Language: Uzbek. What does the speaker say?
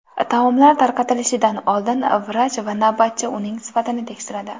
Taomlar tarqatilishidan oldin vrach va navbatchi ularning sifatini tekshiradi.